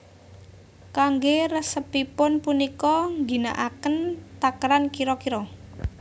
Kanggé resepipun punika ngginakaken takeran kira kira